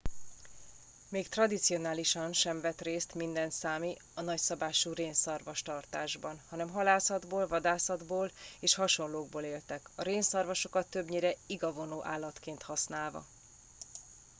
még tradicionálisan sem vett részt minden számi a nagyszabású rénszarvastartásban hanem halászatból vadászatból és hasonlókból éltek a rénszarvasokat többnyire igavonó állatként használva